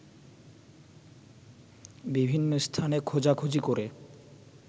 বিভিন্ন স্থানে খোঁজাখুঁজি করে